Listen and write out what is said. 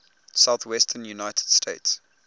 southwestern united states